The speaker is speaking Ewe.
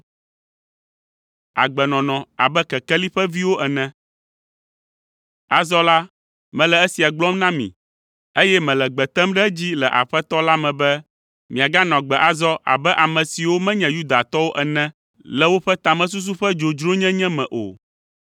Azɔ la, mele esia gblɔm na mi, eye mele gbe tem ɖe edzi le Aƒetɔ la me be miaganɔ agbe azɔ abe ame siwo menye Yudatɔwo ene le woƒe tamesusu ƒe dzodzronyenye me o.